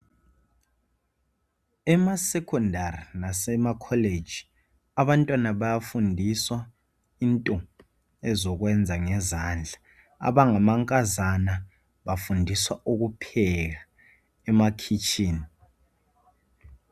Emasecondary lasemacollege abantwana bayafundiswa into ezokwenza ngezandla. Abangamankazana bafundiswa ukupheka emakhitshini.